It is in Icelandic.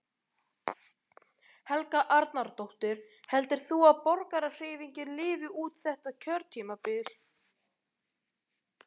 Helga Arnardóttir: Heldur þú að Borgarahreyfingin lifi út þetta kjörtímabil?